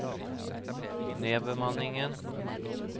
nedbemanningen